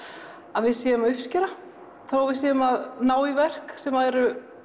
að við séum að uppskera þó við séum að ná í verk sem eru